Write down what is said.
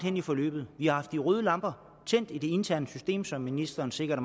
i forløbet vi har haft de røde lamper tændt i det interne system som ministeren sikkert